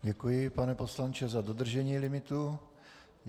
Děkuji, pane poslanče, za dodržení limitu.